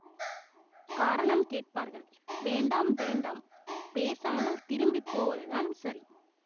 காரணம் கேட்பார்கள் வேண்டாம் வேண்டாம் பேசாமல் திரும்பி போவதுதான் சரி